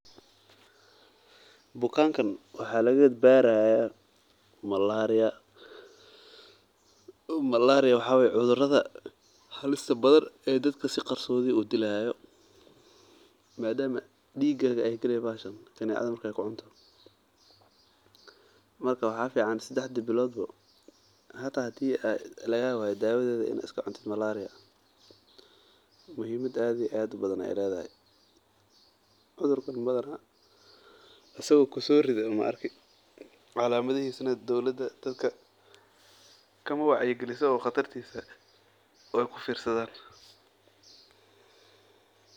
Bulankan waxaa laga baari haaya malaria waa cudur halis badan oo si qarsodi ah udilo dadka madama aay diiga gasho marka sedexdi bilood ba dawadiisa in lacuno waye calamadahiisa dowlada dadaka kama wacyi galiso ee waay kufirsadaan.